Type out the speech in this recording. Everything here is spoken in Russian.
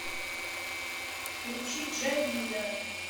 включи джавида